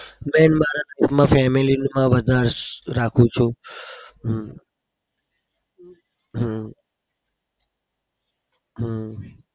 main મારા ઘરમાં family માં વધાર રાખું છું. હમ હમ